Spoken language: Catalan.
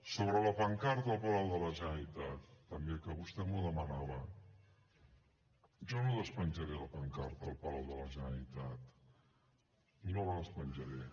sobre la pancarta al palau de la generalitat també que vostè m’ho demanava jo no despenjaré la pancarta al palau de la generalitat no la despenjaré